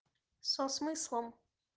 со смыслом